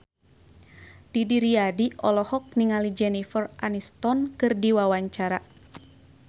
Didi Riyadi olohok ningali Jennifer Aniston keur diwawancara